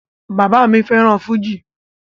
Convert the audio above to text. Bàbá mi fẹ́ràn fújì